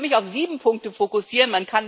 Ich will mich auf sieben Punkte fokussieren.